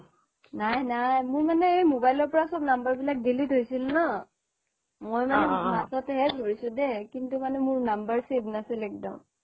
নাই নাই মোৰ মানে মোবাইলৰ পৰা চব mumber বোৰ delete হৈছিল ন মই মাতত হে ধৰিছো দেই কিন্তু মানে মোৰ number save নাছিল একদম